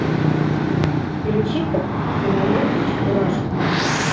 включи ка киноленту чебурашка